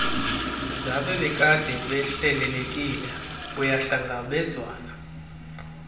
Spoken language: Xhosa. zabebekade behlelelekile kuyahlangabezwana